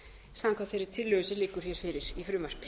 samkvæmt þeirri tillögu sem liggur hér fyrir í frumvarpi